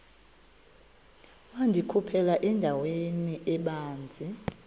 wandikhuphela endaweni ebanzi